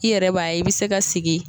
I yɛrɛ b'a ye i be se ka sigi